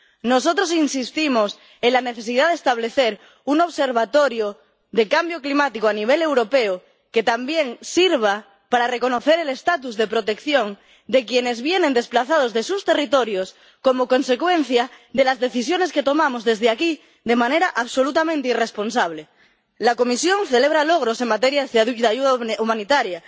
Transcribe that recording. Nosotros insistimos en la necesidad de establecer un observatorio de cambio climático a nivel europeo que también sirva para reconocer el estatuto de protección de quienes vienen desplazados de sus territorios como consecuencia de las decisiones que tomamos desde aquí de manera absolutamente irresponsable. La Comisión celebra logros en materia de ayuda humanitaria.